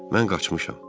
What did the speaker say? Mən qaçmışam.